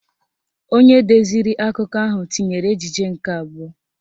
Onye deziri akụkọ ahụ tinyere ejije nke abụọ